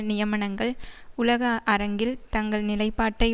நியமனங்கள் உலக அரங்கில் தங்கள் நிலைப்பாட்டை